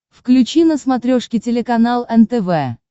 включи на смотрешке телеканал нтв